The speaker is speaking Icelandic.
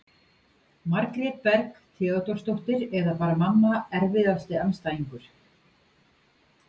Margrét Berg Theodórsdóttir eða bara mamma Erfiðasti andstæðingur?